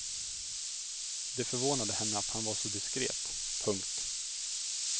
Det förvånade henne att han var så diskret. punkt